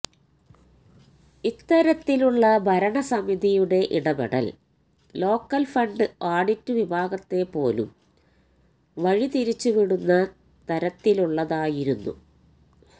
ഇത്തരത്തിലുള്ള ഭരണസമിതിയുടെ ഇടപെടൽ ലോക്കൽഫണ്ട് ആഡിറ്റ് വിഭാഗത്തെപ്പോലും വഴിതിരിച്ചുവിടുന്ന തരത്തിലുള്ളതായിരുന്നു